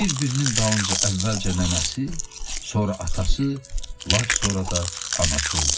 Bir-birinin dalınca əvvəlcə nənəsi, sonra atası, lap sonra da anası öldü.